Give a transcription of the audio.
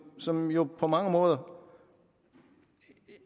som jo på mange måder